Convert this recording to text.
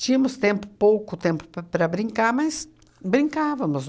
Tínhamos tempo pouco tempo p para brincar, mas brincávamos.